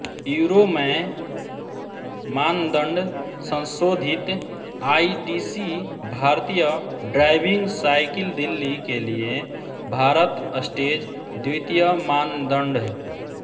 euro मैं मानदंड संशोधित आईडीसी भारतीय ड्राइविंग साइकिल दिल्ली के लिए भारत स्टेज द्वितीय मानदंड